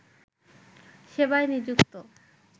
সেবায় নিযুক্ত